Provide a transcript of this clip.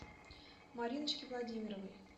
мариночки владимировой